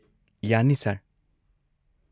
ꯌꯥꯅꯤ, ꯁꯔ꯫